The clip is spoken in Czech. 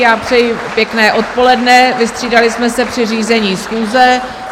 Já přeji pěkné odpoledne, vystřídali jsme se při řízení schůze.